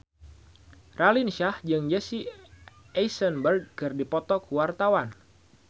Raline Shah jeung Jesse Eisenberg keur dipoto ku wartawan